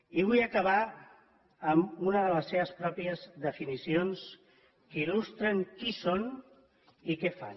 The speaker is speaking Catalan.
i vull acabar amb una de les seves pròpies definicions que il·lustren qui són i què fan